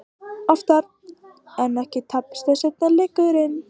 Oftar en ekki tapaðist seinni leikurinn.